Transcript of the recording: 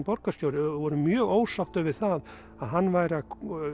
borgarstjóri voru mjög ósáttir við það að hann væri að